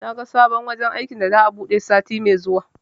Naga sabon wajen aikin da za'a buɗe sati me zuwa